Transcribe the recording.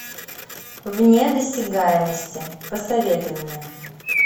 вне досягаемости посоветуй мне